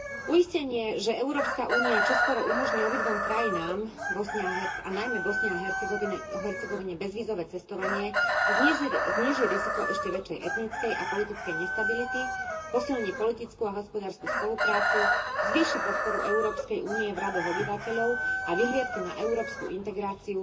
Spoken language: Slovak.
Uistenie, že Európska únia čoskoro umožní obidvom krajinám a najmä Bosne a Hercegovine bezvízové cestovanie, zníži riziko ešte väčšej etnickej a politickej nestability, posilní politickú a hospodársku spoluprácu, zvýši podporu Európskej únie v radoch obyvateľov a vyhliadky na európsku integráciu,